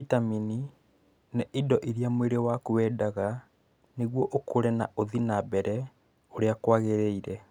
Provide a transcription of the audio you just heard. Vitamini nĩ indo iria mwĩrĩ waku wendaga nĩguo ũkũre na ũthie na mbere ũrĩa kwagĩrĩire.